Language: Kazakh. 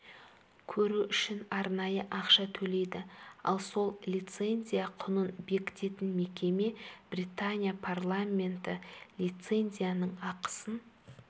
көру үшін арнайы ақша төлейді ал сол лицензия құнын бекітетін мекеме британия парламенті лицензияның ақысын